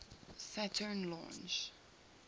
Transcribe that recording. saturn launch